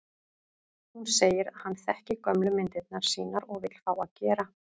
Hún segir að hann þekki gömlu myndirnar sínar og vill fá að gera